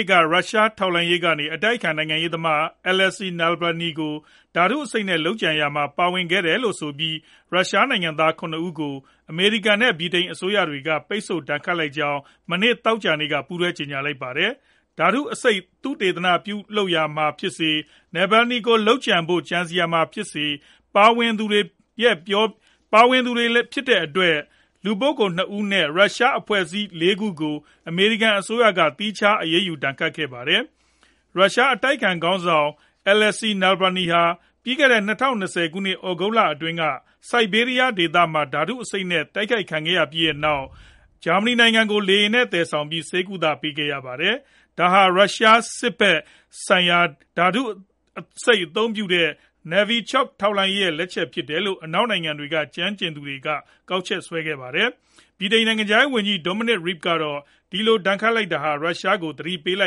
စ်က ရုရှား ထောက်လှမ်းရေးကနေ အတိုက်အခံနိုင်ငံရေးသမား Alexey Navalny ကို ဓါတု့အဆိပ်နဲ့ လုပ်ကြံရာမှာ ပါဝင်ခဲ့တယ် လို့ဆိုပြီး ရုရှားနိုင်ငံသား ၇ ဦးကို အမေရိကန် နဲ့ ဗြိတိန်အစိုးရတွေက ပိတ်ဆို့ဒဏ်ခတ်လိုက်ကြောင်း မနေ့ သောကြာနေ့က ပူးတွဲကြေညာလိုက်ပါတယ်။ ဓါတု့အဆိပ် သုတေသနပြုလုပ်ရာမှာဖြစ်စေ Navalny ကို လုပ်ကြံဖို့ ကြံစည်ရာမှာ ဖြစ်စေ ပါဝင်သူတွေဖြစ်တဲ့အတွက် လို့ပြောပြီးလည်း လူပုဂ္ဂိုလ် ၂ဦးနဲ့ ရုရှားအဖွဲ့အစည်း ၄ ခုကို အမေရိကန် အစိုးရကနေ သီးခြား အရေးယူ ဒဏ်ခတ်ခဲ့ပါတယ်။ ရုရှားအတိုက်အခံခေါင်းဆောင် Alexey Navalny ဟာ ပြီးခဲ့တဲ့ ၂ဝ၂၀ ခုနှစ် သြဂုတ်လအတွင်းက Siberia ဒေသမှာ ဓါတု့အဆိပ်နဲ့ တိုက်ခိုက်ခံခဲ့ရပြီးနောက် ဂျာမဏီနိုင်ငံကို လေယာဉ်နဲ့ သယ်ဆောင်ပြီး ဆေးကု့သပေးခဲ့ရပါတယ်။ ဒါဟာ ရုရှား စစ်ဖက်ဆိုင်ရာ ဓါတုအဆိပ်အသုံးပြုတဲ့ Novichok ထောက်လှမ်းရေး ရဲ့ လက်ချက်ဖြစ်တယ်လို့ အနောက်နိုင်ငံတွေက ကျွမ်းကျင်သူတွေက ကောက်ချက်ချခဲ့ကြပါတယ်။ ဗြိတိန်နိုင်ငံခြားရေးဝန်ကြီး Dominic Raab ကတော့ ဒီလို ဒဏ်ခတ်လိုက်တာဟာ ရုရှားကို သတိပေးလို